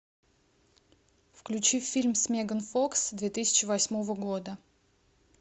включи фильм с меган фокс две тысячи восьмого года